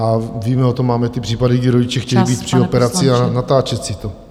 A víme o tom, máme ty případy, kdy rodiče chtějí být při operaci a natáčet si to.